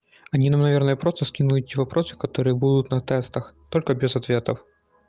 они нам наверное просто скинули эти вопросы которые будут на тестах только без ответов